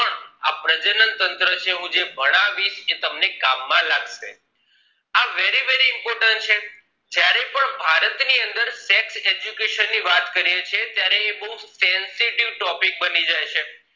આ પ્રજનન તંત્ર છે હું ભણાવીશ એ તમને કામ માં લાગશે આ very very important છે જયારે પણ ભારત ની અંદર sex education ની વાત કરીએ છીએ તયારે એ બહુ sensitive topic બની જાય છે